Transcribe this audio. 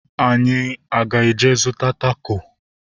Anyị aga eje zụta tako?